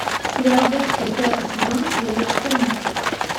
сериал декстер пятый сезон серия четырнадцать